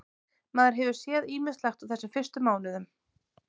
Maður hefur séð ýmislegt á þessum fyrstu mánuðum.